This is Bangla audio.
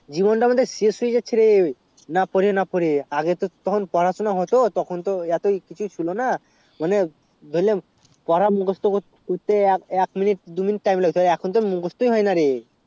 জীবন তা আমাদের শেষ হয়ে যাচ্ছে রে না পরে না পরে আগে তো পড়াশুনা হতো তখন তো এত ছুটি ছিল না মানে ধরলে পড়া মুখুস্ত করতে এক minute দু minute time লাগতো এখন তো মুখুস্ত হয় না রে